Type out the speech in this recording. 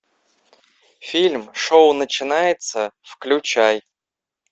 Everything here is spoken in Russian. фильм шоу начинается включай